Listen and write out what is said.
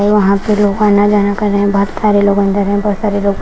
वहां पे लोग आना जाना कर रहे बहोत सारे लोग अंदर में बहोत सारे लोग बा--